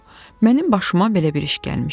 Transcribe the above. Budur, mənim başıma belə bir iş gəlmişdi.